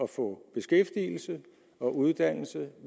få beskæftigelse og uddannelse